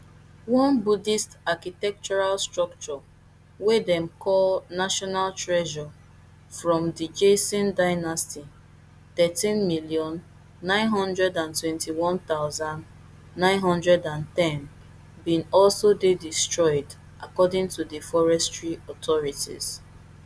one buddhist architectural structure wey dem call national treasure from di joseon dynasty thirteen million, nine hundred and twenty-one thousand, nine hundred and ten bin also dey destroyed according to di forestry authorities